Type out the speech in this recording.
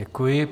Děkuji.